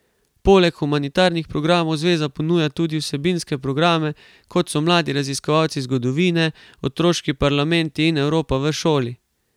Poleg humanitarnih programov zveza ponuja tudi vsebinske programe, kot so Mladi raziskovalci zgodovine, Otroški parlamenti in Evropa v šoli.